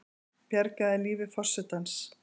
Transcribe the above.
Bjargaði lífi forsetans